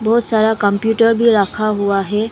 बहोत सारा कम्प्यूटर भी रखा हुआ है।